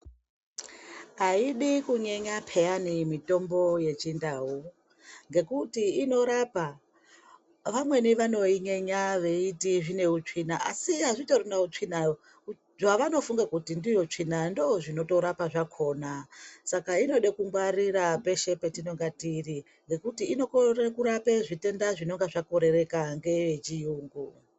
Aidi kunyenya peyani mitombo yechindau ngekuti inorapa vamweni vanoinyenya veiti zvine utsvina asi hazvitorina utsvina. Zvaanofunga kuti ndiyo tsvina ndizvo zvinotorapa zvakona . Saka inoda kungwarira peshe patinenge tiri ngekuti inokone kurapa zvitenda zvinenge zvakorereka ngevechiyungu.